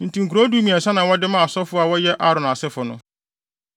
Enti nkurow dumiɛnsa na wɔde maa asɔfo a wɔyɛ Aaron asefo no.